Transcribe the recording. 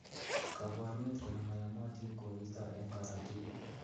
Koborunet kole moyomotin koristo en korotik.